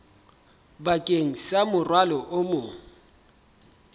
bakeng sa morwalo o mong